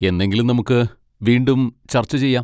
എന്നെങ്കിലും നമുക്ക് വീണ്ടും ചർച്ച ചെയ്യാം.